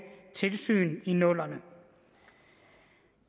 tilsyn i nullerne